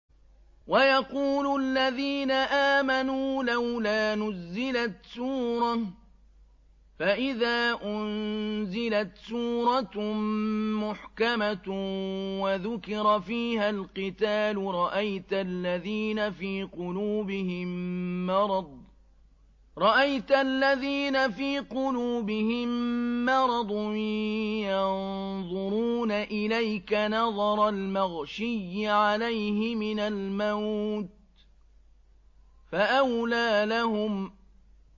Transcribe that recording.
وَيَقُولُ الَّذِينَ آمَنُوا لَوْلَا نُزِّلَتْ سُورَةٌ ۖ فَإِذَا أُنزِلَتْ سُورَةٌ مُّحْكَمَةٌ وَذُكِرَ فِيهَا الْقِتَالُ ۙ رَأَيْتَ الَّذِينَ فِي قُلُوبِهِم مَّرَضٌ يَنظُرُونَ إِلَيْكَ نَظَرَ الْمَغْشِيِّ عَلَيْهِ مِنَ الْمَوْتِ ۖ فَأَوْلَىٰ لَهُمْ